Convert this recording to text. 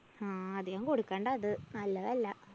ഹാ അധികം കൊടുക്കണ്ടാ അത് നല്ലതല്ല.